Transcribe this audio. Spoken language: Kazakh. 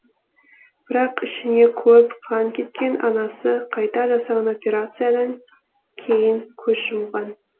бірақ ішіне көп қан кеткен анасы қайта жасаған операциядан кейін көз жұмған